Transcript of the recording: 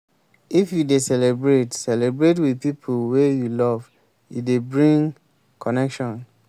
if you dey celebrate celebrate with pipo wey you love e dey bring connection